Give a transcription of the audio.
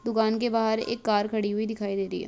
दुकान के बाहर एक कार खड़ी हुई दिखाई दे रही है।